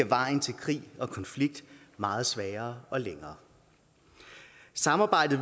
vejen til krig og konflikt meget sværere og længere samarbejdet